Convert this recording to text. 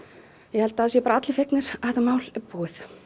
ég held að það séu bara allir fegnir að þetta mál sé búið